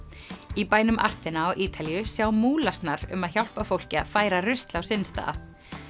í bænum á Ítalíu sjá um að hjálpa fólki að færa rusl á sinn stað